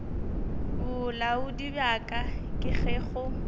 bolaodi bjalo ka ge go